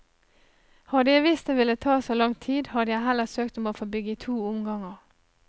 Hadde jeg visst det ville ta så lang tid, hadde jeg heller søkt om å få bygge i to omganger.